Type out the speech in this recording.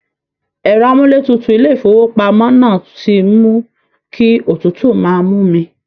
Ẹ̀rọ amúlétutu ilé ìfowópamọ́ náà ti mú kí otútú máa mú mi